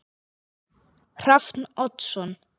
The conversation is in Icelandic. Hrafn Oddsson